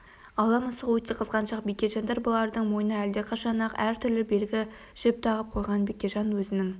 ала мысық өте қызғаншақ бекежандар бұлардың мойнына әлдеқашан-ақ әр түрлі белгі жіп тағып қойған бекежан өзінің